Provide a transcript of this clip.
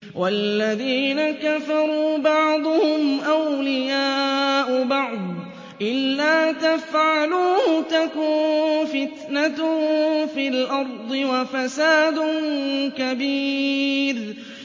وَالَّذِينَ كَفَرُوا بَعْضُهُمْ أَوْلِيَاءُ بَعْضٍ ۚ إِلَّا تَفْعَلُوهُ تَكُن فِتْنَةٌ فِي الْأَرْضِ وَفَسَادٌ كَبِيرٌ